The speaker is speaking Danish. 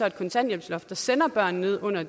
et kontanthjælpsloft der sender børn ned under